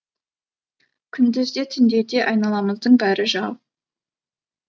күндіз де түнде де айналамыздың бәрі жау